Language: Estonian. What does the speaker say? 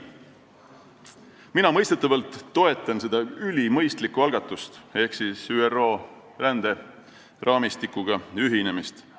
Mina mõistetavalt toetan seda ülimõistlikku algatust ehk ÜRO ränderaamistikuga ühinemist.